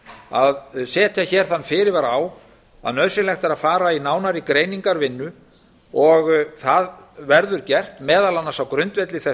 að setja hér þann fyrirvara á að nauðsynlegt er að fara í nánari greiningarvinnu og það verður gert meðal annars á grundvelli þess